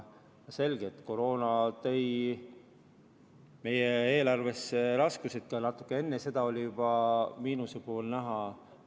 Selge, et koroona tõi meie eelarvesse raskused, kuid natuke enne seda oli juba miinuspool näha.